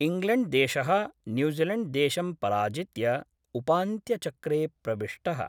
इङ्ग्लेण्ड्देश: न्यूजीलेण्ड्देशं पराजित्य उपान्त्यचक्रे प्रविष्टः।